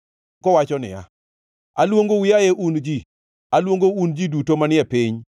kowacho niya, “Aluongou, yaye un ji, aluongou un ji duto manie piny.